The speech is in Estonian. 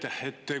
Aitäh!